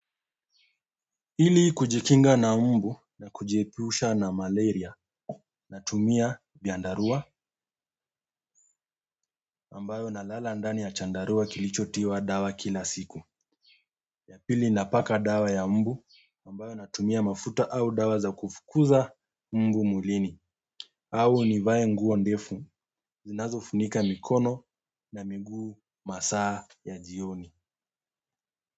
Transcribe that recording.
Ili kujikinga na mbu na kujiepusha na malaria natumia viandarua ambayo nalala ndani ya chandarua kilicho tiwa dawa kila siku ya pili napaka dawa ya mbu ambayo natumia mafuta au dawa za kufukuza mbu mwilini. Au nivae nguo ndefu zinazofunika mikono na miguu masaa ya jioni.